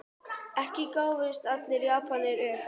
Ekki gáfust allir Japanir upp.